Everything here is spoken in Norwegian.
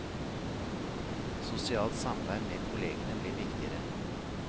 Sosialt samvær med kollegene blir viktigere.